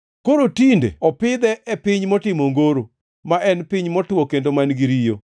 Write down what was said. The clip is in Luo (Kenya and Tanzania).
Koro tinde opidhe e piny motimo ongoro, ma en piny motwo kendo man-gi riyo.